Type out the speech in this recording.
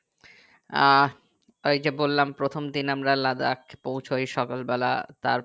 আহ ওই যে বললাম প্রথম দিন আমরা লাদাখ পৌঁছায় সকাল বেলা তারপর